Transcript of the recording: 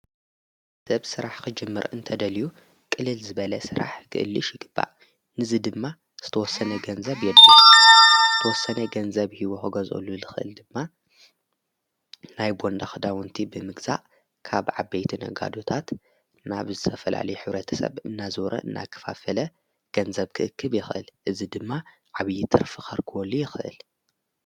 ሰብ ሥራሕ ኽጅምር እንተ ደልዩ ቕልል ዝበለ ሥራሕ ግእልሽ ይግባእ ንዝ ድማ ዝተወሰነ ገንዘብ የድ ተወሰነ ገንዘብ ሕይወ ሕገዘሉ ልኽእል ድማ ናይ ቦንዳ ኽዳውንቲ ብምግዛእ ካብ ዓበይቲ ነ ጋዶታት ናብ ዝሰፈላሊ ኅብረተ ሰብ እናዞረ እናኽፋፈለ ገንዘብ ክእክብ የኽእል እዝ ድማ ዓብዪትርፊ ኸርክወሉ ይኽእል።